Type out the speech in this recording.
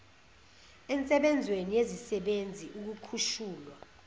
ensebenzweni yesisebenzi ukukhushulwa